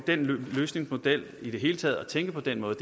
den løsningsmodel og i det hele taget at tænke på den måde